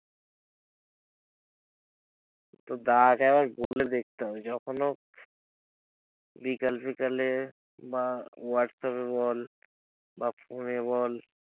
তোর দাদাকে একবার বলে দেখতে হবে, যখন হোক বিকাল ফিকালে বা হোয়াটস্যাপ এ বল বা ফোন বল।